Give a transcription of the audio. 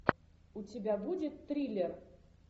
у тебя будет триллер